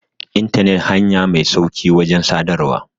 intanet hanya Mai sauƙi wajen sadarwa